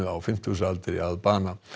á fimmtugsaldri að bana